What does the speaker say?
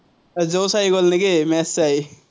জোচ আহি গল নেকি, match চায়?